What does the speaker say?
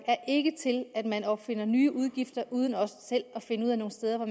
ikke er til at man opfinder nye udgifter uden også selv at finde nogle steder hvor